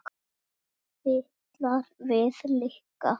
Fitlar við lykla.